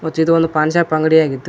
ಮತ್ತು ಇದು ಒಂದು ಪಾನ್ ಶಾಪ್ ಅಂಗಡಿಯಾಗಿದ್ದು--